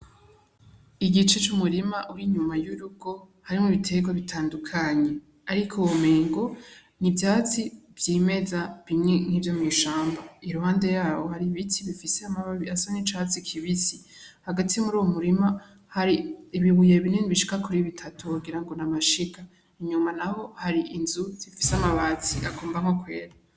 Igice c'umurima w'inyuma y'urugo harimwo ibiterwa bitandukanye, ariko womengo n'ivyatsi vy'imeza bimwe nk'ivyo mw'ishamba iruhande yaho hari ibiti bifise amababi asa n'icatsi kibisi hagati muri uwo murima hari ibibuye binini bishika kuri bitatu wogira ngo n'amashiga, inyuma naho hari inzu zifise amabati agombamwo kwera.